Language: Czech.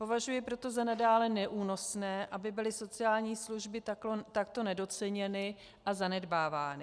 Považuji proto za nadále neúnosné, aby byly sociální služby takto nedoceněny a zanedbávány.